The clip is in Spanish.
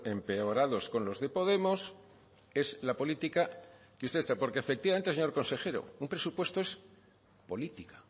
empeorados con los de podemos es la política que porque efectivamente señor consejero un presupuesto es